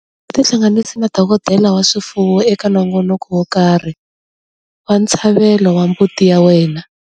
Tihlanganisi na dokodela wa swifuwo eka nongonoko wo karhi wa ntshlavelo wa mbuti ya wena.